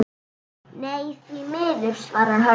Nei, því miður svarar Hörður.